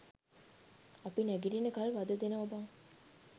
අපි නැගිටිනකන් වද දෙනවා බං.